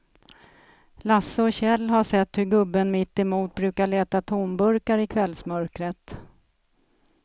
Lasse och Kjell har sett hur gubben mittemot brukar leta tomburkar i kvällsmörkret.